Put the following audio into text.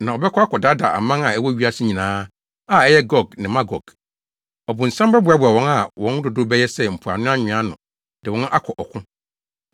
na ɔbɛkɔ akɔdaadaa aman a ɛwɔ wiase nyinaa a ɛyɛ Gog ne Magog. Ɔbonsam bɛboaboa wɔn a wɔn dodow bɛyɛ sɛ mpoano nwea ano de wɔn akɔ ɔko.